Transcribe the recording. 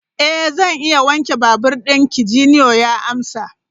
Eh, zan iya wanke babur dinki, Junior ya amsa.